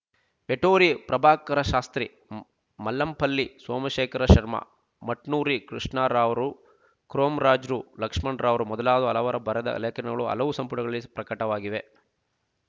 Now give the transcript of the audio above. ವೇಟೂರಿ ಪ್ರಭಾಕರಶಾಸ್ತ್ರಿ ಮಲ್ಲಂಪಲ್ಲಿ ಸೋಮಶೇಖರ ಶರ್ಮ ಮಟ್ನೂರಿ ಕೃಷ್ಣ ರಾವ್ ರು ಕೊಮರ್ರಾಜುರು ಲಕ್ಷಣರಾವುರು ಮೊದಲಾದ ಹಲವರು ಬರೆದ ಲೇಖನಗಳು ಹಲವು ಸಂಪುಟಗಳಲ್ಲಿ ಪ್ರಕಟವಾಗಿವೆ